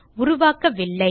உருவாக்கவில்லை